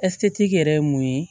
ɛsike yɛrɛ ye mun ye